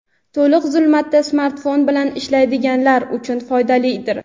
to‘liq zulmatda smartfon bilan ishlaydiganlar uchun foydalidir.